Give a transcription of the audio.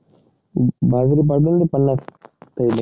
बाजरी मला हि पंनास पाहिजे